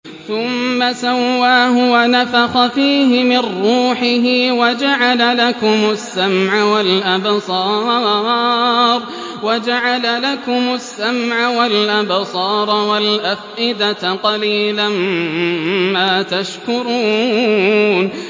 ثُمَّ سَوَّاهُ وَنَفَخَ فِيهِ مِن رُّوحِهِ ۖ وَجَعَلَ لَكُمُ السَّمْعَ وَالْأَبْصَارَ وَالْأَفْئِدَةَ ۚ قَلِيلًا مَّا تَشْكُرُونَ